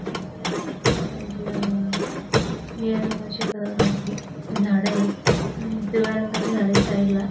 समुद्र ये साईड ला निळ्या रंगाची अ झाडं आहेत पिवळ्या रंगाची झाडं आहेत साईड ला.